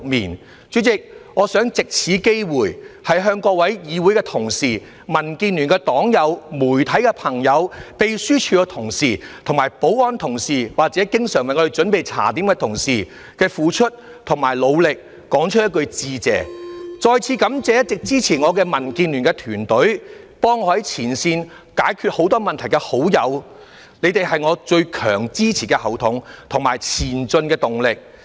代理主席，我想藉此機會向各位議會同事、民建聯的黨友、媒體朋友、秘書處同事、保安同事，以及經常為我們準備茶點的同事，對於他們的付出和努力說一句多謝，再次感謝一直支持我的民建聯團隊、為我在前線解決很多問題的好友，他們是我的最強後盾及前進的動力。